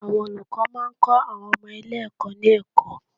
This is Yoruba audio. Àwọn olùkọ́ máa ń kọ́ àwọn ọmọ ilé ẹ̀kọ́ ní ẹ̀kọ́.